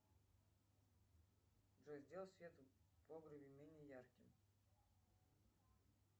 джой сделай свет в погребе менее ярким